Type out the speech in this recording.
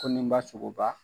Toninba Sogoba